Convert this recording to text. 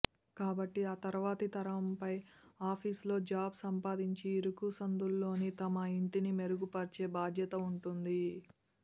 కాబట్టి ఆ తర్వాతి తరంపై ఆఫీసులో జాబ్ సంపాదించి ఇరుకు సందుల్లోని తమ ఇంటిని మెరుగుపరిచే బాధ్యత ఉంటుంది